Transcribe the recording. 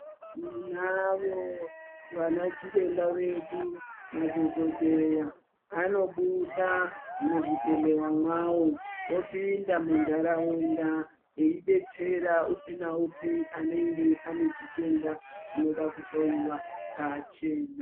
Tinavo vanachiremba vedu, madhogodheya anobuda muzvibhedhlera mwawo opinda mundaraunda eidetsera upi neupi anenge ane chitenda chinoda kuhloiwa pachena.